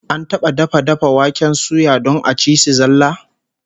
An taba dafa dafa waken suya don a ci shi zallah?